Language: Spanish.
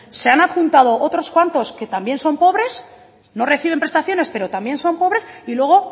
se han adjuntando otros campos que también son pobres no reciben prestaciones pero también son pobres y luego